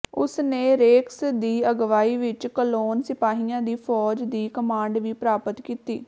ਉਸ ਨੇ ਰੇਕਸ ਦੀ ਅਗਵਾਈ ਵਿਚ ਕਲੋਨ ਸਿਪਾਹੀਆਂ ਦੀ ਫੌਜ ਦੀ ਕਮਾਂਡ ਵੀ ਪ੍ਰਾਪਤ ਕੀਤੀ